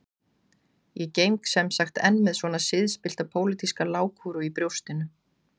Ég geng sem sagt enn með svona siðspillta pólitíska lágkúru í brjóstinu